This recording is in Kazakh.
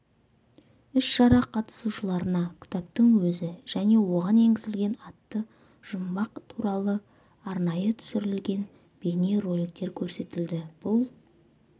іс-шара қатысушыларына кітаптың өзі және оған енгізілген атты жұмбақ туралы арнайы түсірілген бейне роликтер көрсетілді бұл